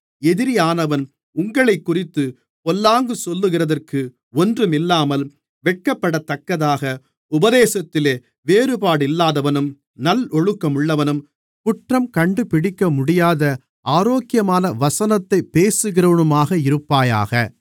எதிரியானவன் உங்களைக்குறித்துப் பொல்லாங்கு சொல்லுகிறதற்கு ஒன்றுமில்லாமல் வெட்கப்படத்தக்கதாக உபதேசத்திலே வேறுபாடில்லாதவனும் நல்லொழுக்கமுள்ளவனும் குற்றம் கண்டுபிடிக்க முடியாத ஆரோக்கியமான வசனத்தைப் பேசுகிறவனுமாக இருப்பாயாக